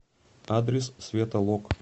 адрес светолок